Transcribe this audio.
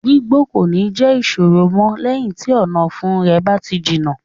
Gbígbó kò ní jẹ́ ìṣòro mọ́ lẹ́yìn tí ọ̀nàfun rẹ̀ bá ti jiná.